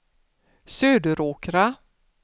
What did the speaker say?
Söderåkra